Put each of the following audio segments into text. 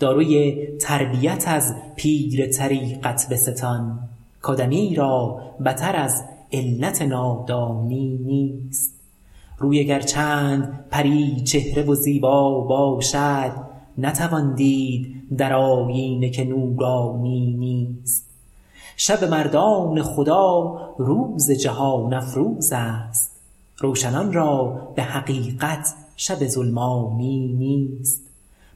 داروی تربیت از پیر طریقت بستان کادمی را بتر از علت نادانی نیست روی اگر چند پری چهره و زیبا باشد نتوان دید در آیینه که نورانی نیست شب مردان خدا روز جهان افروزست روشنان را به حقیقت شب ظلمانی نیست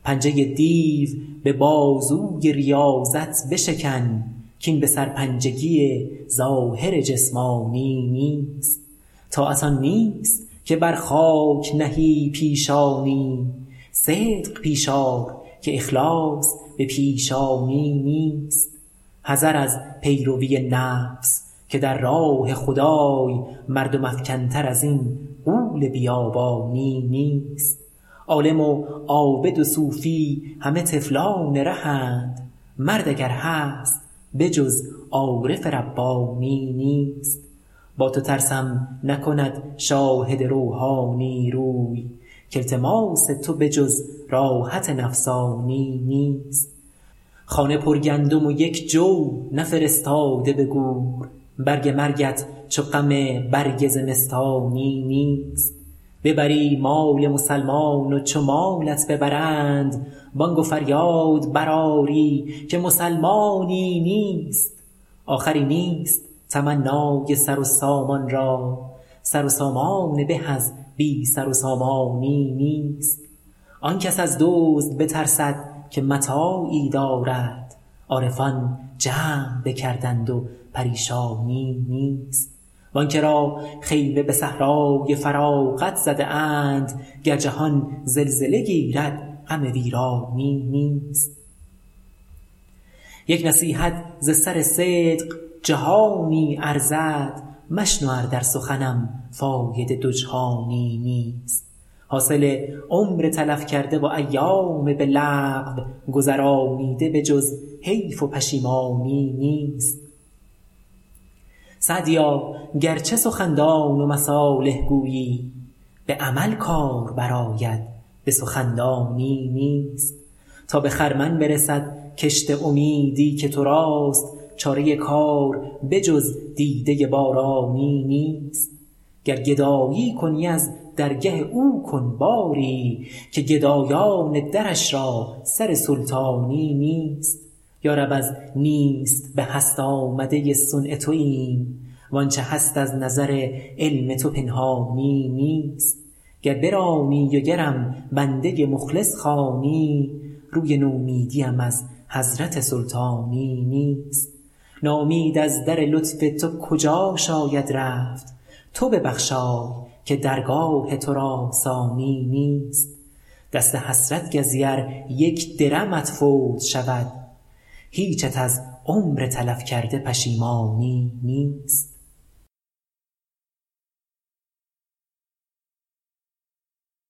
پنجه دیو به بازوی ریاضت بشکن کاین به سرپنجگی ظاهر جسمانی نیست طاعت آن نیست که بر خاک نهی پیشانی صدق پیش آر که اخلاص به پیشانی نیست حذر از پیروی نفس که در راه خدای مردم افکن تر ازین غول بیابانی نیست عالم و عابد و صوفی همه طفلان رهند مرد اگر هست به جز عارف ربانی نیست با تو ترسم نکند شاهد روحانی روی کالتماس تو به جز راحت نفسانی نیست خانه پرگندم و یک جو نفرستاده به گور برگ مرگت چو غم برگ زمستانی نیست ببری مال مسلمان و چو مالت ببرند بانگ و فریاد برآری که مسلمانی نیست آخری نیست تمنای سر و سامان را سر و سامانی به از بی سر و سامانی نیست آن کس از دزد بترسد که متاعی دارد عارفان جمع بکردند و پریشانی نیست وانکه را خیمه به صحرای فراغت زده اند گر جهان زلزله گیرد غم ویرانی نیست یک نصیحت ز سر صدق جهانی ارزد مشنو ار در سخنم فایده دو جهانی نیست حاصل عمر تلف کرده و ایام به لغو گذرانیده به جز حیف و پشیمانی نیست سعدیا گرچه سخندان و مصالح گویی به عمل کار برآید به سخندانی نیست تا به خرمن برسد کشت امیدی که تراست چاره کار به جز دیده بارانی نیست گر گدایی کنی از درگه او کن باری که گدایان درش را سر سلطانی نیست یارب از نیست به هست آمده صنع توایم وانچه هست از نظر علم تو پنهانی نیست گر برانی و گرم بنده مخلص خوانی روی نومیدیم از حضرت سلطانی نیست ناامید از در لطف تو کجا شاید رفت تو ببخشای که درگاه تو را ثانی نیست دست حسرت گزی ار یک درمت فوت شود هیچت از عمر تلف کرده پشیمانی نیست